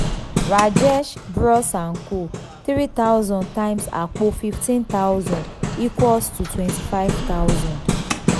rajesh bros and co three thousand times àpò fifteen thousand equals to twenty five thousand